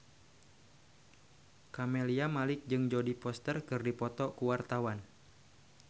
Camelia Malik jeung Jodie Foster keur dipoto ku wartawan